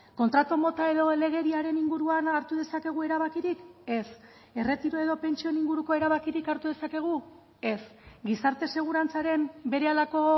kontratu mota edo legediaren inguruan hartu dezakegu erabakirik ez erretiro edo pentsioen inguruko erabakirik hartu dezakegu ez gizarte segurantzaren berehalako